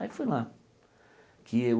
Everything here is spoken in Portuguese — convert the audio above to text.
Aí fui lá. Que eu